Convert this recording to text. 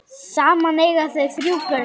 Saman eiga þau þrjú börn.